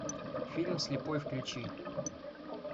фильм слепой включи